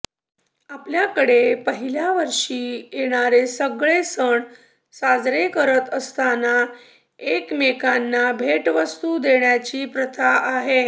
आपल्याकडे पहिल्या वर्षी येणारे सगळे सण साजरे करत असताना एकमेकांना भेटवस्तू देण्याची प्रथा आहे